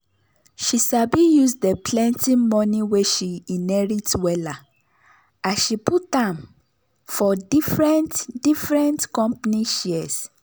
she sabi use de plenty money wey she inherit wella as she put am for different different company shares.